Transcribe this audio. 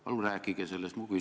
Palun rääkige sellest!